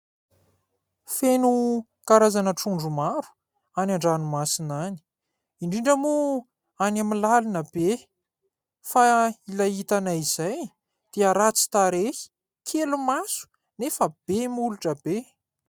Feno karazana trondro maro any an-dranomasina any, indrindra moa any amin'ny lalina be fa ilay hitanay izay dia ratsy tarehy kely maso nefa be molotra be.